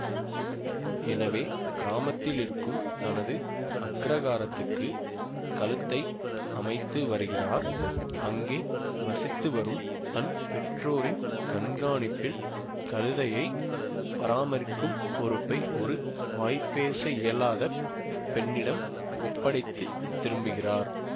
எனவே கிராமத்திலிருக்கும் தனது அக்ரஹாரதுக்கு கழுத்தை அமைத்து வருகிறார் அங்கே வசித்துவரும் தன் பெற்றோரின் கண்காணிப்பில் கழுதையை பராமரிக்கும் பொறுப்பை ஒரு வாய்பேசயியலாத பெண்ணிடம் ஒப்படைத்து திரும்புகிறார்